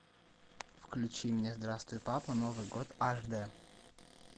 включи мне здравствуй папа новый год аш дэ